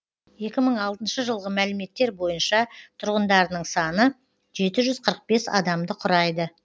екі мың алтыншы жылғы мәліметтер бойынша тұрғындарының саны жеті жүз қырық бес адамды құрайды